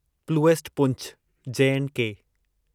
प्लूएस्ट पुंछ जे एंड के